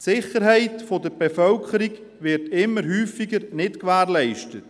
Die Sicherheit der Bevölkerung wird immer häufiger nicht gewährleistet.